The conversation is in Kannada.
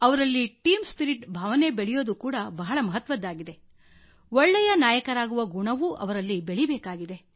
ಅವರಲ್ಲಿ ಟೀಮ್ ಸ್ಪಿರಿಟ್ ಭಾವನೆಯೂ ಬೆಳೆಯೋದು ಬಹಳ ಮಹತ್ವದ್ದಾಗಿದೆ ಒಳ್ಳೆಯ ನಾಯಕರಾಗುವ ಗುಣವೂ ಅವರಲ್ಲಿ ಬೆಳೀಬೇಕಾಗಿದೆ